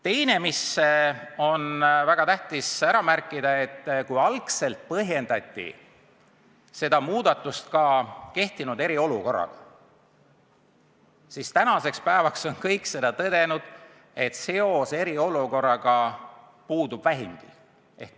Teine, mis on väga tähtis ära märkida, on see, et kui algselt põhjendati seda muudatust kehtinud eriolukorraga, siis tänaseks päevaks on kõik tõdenud, et vähimgi seos eriolukorraga puudub.